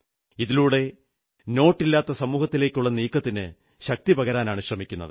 ഇതിലൂടെ നോട്ടില്ലാത്ത സമൂഹത്തിലേക്കുള്ള നീക്കത്തിന് ശക്തിപകരാനാണ് ശ്രമിക്കുന്നത്